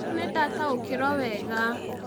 Rĩu nĩ ndataũkĩirũo wega